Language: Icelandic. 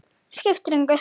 Skiptir engu!